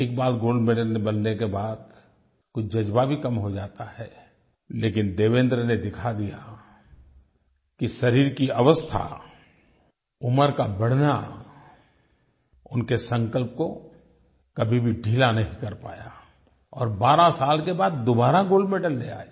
एक बार gold medal मिलने के बाद कुछ जज़्बा भी कम हो जाता है लेकिन देवेन्द्र ने दिखा दिया कि शरीर की अवस्था उम्र का बढ़ना उनके संकल्प को कभी भी ढीला नहीं कर पाया और 12 साल के बाद दोबारा गोल्ड मेडल ले आए